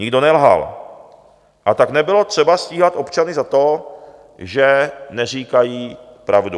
Nikdo nelhal, a tak nebylo třeba stíhat občany za to, že neříkají pravdu.